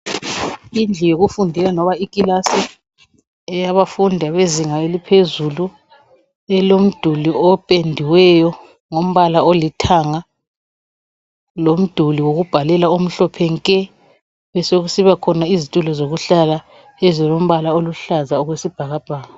Indlu yokufundela loba ikilasi eyabafundi abezinga eliphezulu elomduli opendiweyo ngombala olithanga lomduli wokubhalela omhlophe nke besokusiba khona izitulo zokuhlala ezilombala oluhlaza okwesibhakabhaka.